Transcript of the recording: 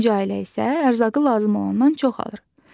İkinci ailə isə ərzaqı lazım olandan çox alır.